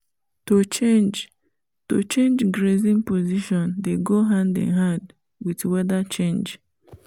to change to change grazing position dey go hand in hand with weather change